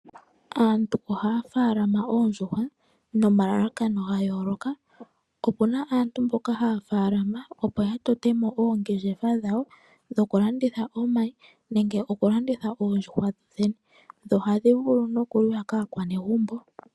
Aantu ohaya faalama oondjuhwa nomalakano gayooloka opuna aantu mboka haya faalama opo ya totemo oongeshefa dhawo , dho kulanditha omayi nenge oku landitha oondjuhwa dho dhene. Dho ohadhi vulu nokuliwa kaakwanegumbo.